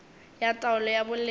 ya taolo ya boleng di